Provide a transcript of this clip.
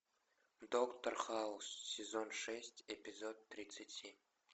доктор хаус сезон шесть эпизод тридцать семь